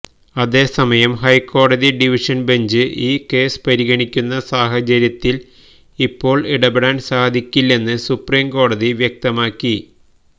അതേസമയം ഹൈക്കോടതി division bench ഈ കേസ് പരിഗണിക്കുന്ന സാഹചര്യത്തില് ഇപ്പോള് ഇടപെടാന് സാധിക്കില്ലെന്ന് സുപ്രീംകോടതി വ്യക്തമാക്കി